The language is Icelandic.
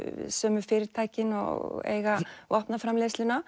sömu fyrirtækin og eiga